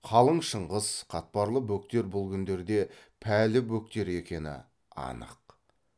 қалың шыңғыс қатпарлы бөктер бұл күндерде пәлі бөктер екені анық